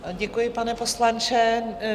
Děkuji, pane poslanče.